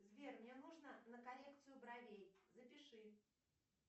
сбер мне нужно на коррекцию бровей запиши